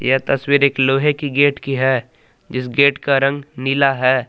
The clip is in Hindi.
ये तस्वीर एक लोहे की गेट की है जिस गेट का रंग नीला है।